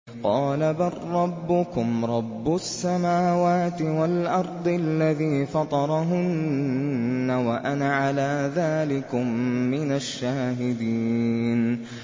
قَالَ بَل رَّبُّكُمْ رَبُّ السَّمَاوَاتِ وَالْأَرْضِ الَّذِي فَطَرَهُنَّ وَأَنَا عَلَىٰ ذَٰلِكُم مِّنَ الشَّاهِدِينَ